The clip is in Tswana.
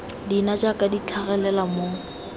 leina jaaka di tlhagelela mo